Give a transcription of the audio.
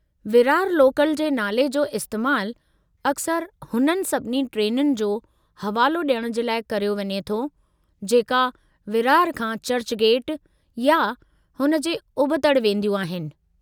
Virar local जे नाले जो इस्तैमालु अक्सर हुननि सभिनी ट्रेनुनि जो हवालो डि॒यणु जे लाइ करियो वञे थो , जेका विरार खां चर्चगेट या हुन जे उबतड़ि वेंदियूं आहिनि।